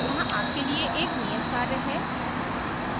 यहाँ आपके लिए एक नियत कार्य है